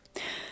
O soruşdu.